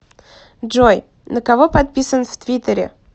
джой на кого подписан в твиттере